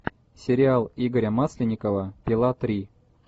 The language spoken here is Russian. сериал игоря масленникова пила три